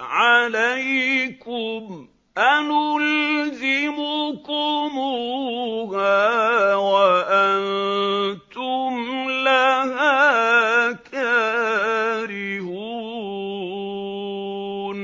عَلَيْكُمْ أَنُلْزِمُكُمُوهَا وَأَنتُمْ لَهَا كَارِهُونَ